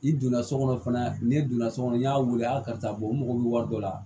I donna so kɔnɔ fana n'i donna so kɔnɔ n y'a wele a karisa u mago bɛ wari dɔ la